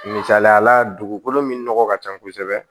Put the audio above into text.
Misaliyala dugukolo min nɔgɔ ka ca kosɛbɛ